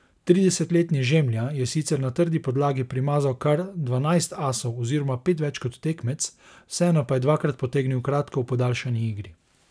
Tridesetletni Žemlja je sicer na trdi podlagi primazal kar dvanajst asov oziroma pet več kot tekmec, vseeno pa je dvakrat potegnil kratko v podaljšani igri.